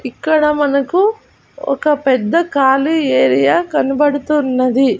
ఇక్కడ మనకు ఒక పెద్ద ఖాళీ ఏరియా కనబడుతున్నది.